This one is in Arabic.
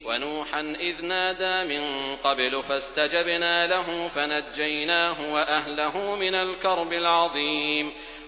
وَنُوحًا إِذْ نَادَىٰ مِن قَبْلُ فَاسْتَجَبْنَا لَهُ فَنَجَّيْنَاهُ وَأَهْلَهُ مِنَ الْكَرْبِ الْعَظِيمِ